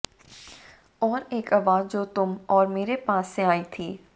और एक आवाज जो तुम और मेरे पास से आई थी